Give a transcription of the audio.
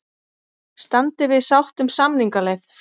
Standi við sátt um samningaleið